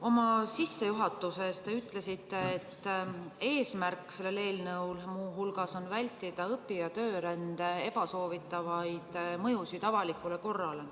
Oma sissejuhatuses te ütlesite, et selle eelnõu eesmärk on muu hulgas vältida õpi- ja töörände ebasoovitavaid mõjusid avalikule korrale.